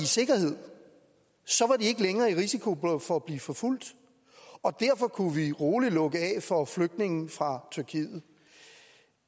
sikkerhed så var de ikke længere i risiko for at blive forfulgt og derfor kunne vi roligt lukke af for flygtninge fra tyrkiet